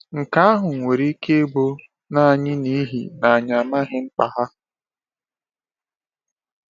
Nke ahụ nwere ike ịbụ nanị n’ihi na anyị amaghị mkpa ha.